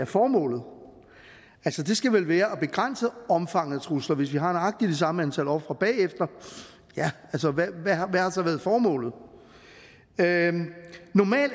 formålet skal vel være at begrænse omfanget af trusler for hvis vi har nøjagtig det samme antal ofre bagefter hvad har så været formålet det